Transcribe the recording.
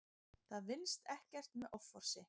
Það vinnist ekkert með offorsi.